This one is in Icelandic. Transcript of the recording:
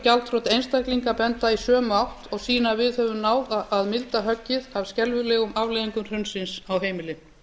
gjaldþrot einstaklinga benda í sömu átt og sýna að við höfum náð að milda höggið af skelfilegum afleiðingum hrunsins á heimilin